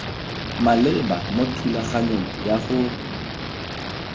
maleba mo thulaganyong ya go